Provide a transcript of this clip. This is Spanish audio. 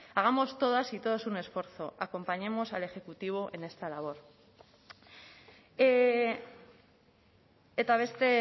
hagamos todas y todos un esfuerzo acompañemos al ejecutivo en esta labor eta beste